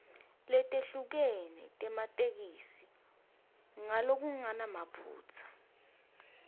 letehlukene tematheksthi ngalokungenamaphutsa